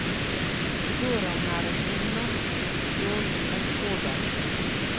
Kdo ravna razumno in kdo dela škodo?